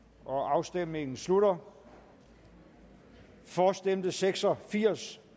afstemningen slutter for stemte seks og firs